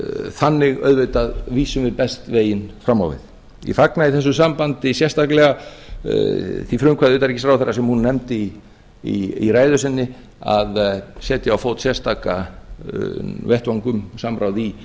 þannig auðvitað vísum við best veginn fram á við því fagna ég í þessu sambandi sérstaklega því frumkvæði utanríkisráðherra sem hún nefndi í ræðu sinni að setja á fót sérstakan vettvang um samráð í